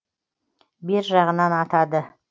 бер жағынан атады